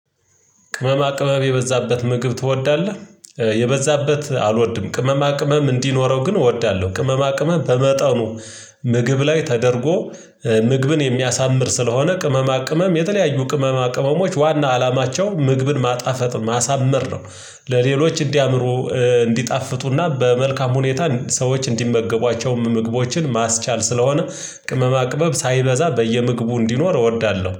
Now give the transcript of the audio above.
ቅመማ ቅመም የበዛበት ምግብ ትወዳለህ? የበዛበት አልወድም ቅመማ ቅመም እንዲኖረው ግን እወዳለሁ ቅመማ ቅመም በመጠኑ። ምግብ ላይ ተደርጎ ምግብን የሚያሳምር ስለሆነ ቅመማ ቅመም የተለያዩ ቅመማ ቅመሞች ዋና አላማቸው ምግብን ማጣፈጥ ማሳመር ነው። ለሌሎች እንዲያምሩ እንዲጣፍጡና በመልካም ሁኔታ ሰዎች እንዲመገቧቸውም ምግቦችን ማስቻል ስለሆነ ቅመማ ቅመም ሳይበዛ በየምግቡ እንዲኖር እወዳለሁ